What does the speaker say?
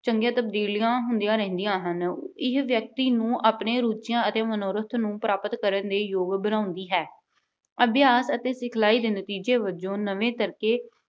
ਚੰਗੀਆਂ ਤਬਦੀਲੀਆਂ ਹੁੰਦੀਆਂ ਰਹਿੰਦੀਆਂ ਹਨ। ਇਹ ਵਿਅਕਤੀ ਨੂੰ ਆਪਣੀਆਂ ਰੁਚੀਆਂ ਅਤੇ ਮਨੋਰਥ ਨੂੰ ਪ੍ਰਾਪਤ ਕਰਨ ਦੇ ਯੋਗ ਬਣਾਉਂਦੀ ਹੈ। ਅਭਿਆਸ ਅਤੇ ਸਿਖਲਾਈ ਦੇ ਨਤੀਜੇ ਵਜੋਂ ਨਵੇਂ ਤਰੀਕੇ